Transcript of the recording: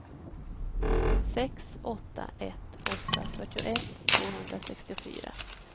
sex åtta ett åtta fyrtioett tvåhundrasextiofyra